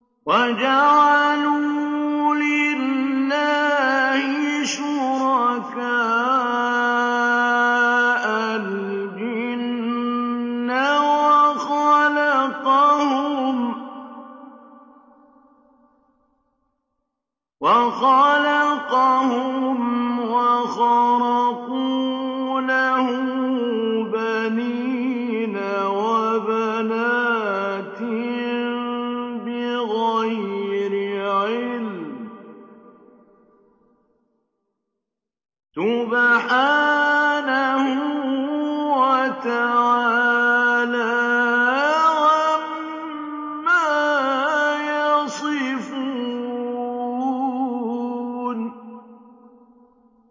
وَجَعَلُوا لِلَّهِ شُرَكَاءَ الْجِنَّ وَخَلَقَهُمْ ۖ وَخَرَقُوا لَهُ بَنِينَ وَبَنَاتٍ بِغَيْرِ عِلْمٍ ۚ سُبْحَانَهُ وَتَعَالَىٰ عَمَّا يَصِفُونَ